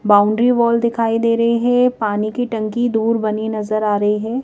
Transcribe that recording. Boundary wall दिखाई दे रहे हैं पानी की टंकी दूर बनी नजर आ रही है।